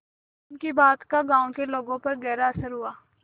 उनकी बात का गांव के लोगों पर गहरा असर हुआ